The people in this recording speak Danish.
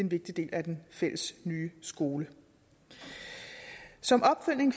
vigtig del af den fælles nye skole som opfølgning